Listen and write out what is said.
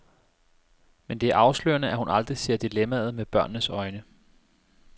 Men det er afslørende, at hun aldrig ser dilemmaet med børnenes øjne.